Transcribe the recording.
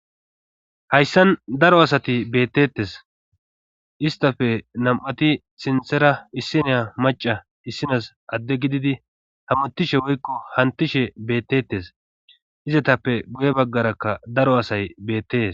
hayssan daro asati bettettes istafe nam7ati sinthera issineya maca issinas adde gididi hamuttishe woykko hantishe bettettes izatappe buye baggarakka daro asay beettees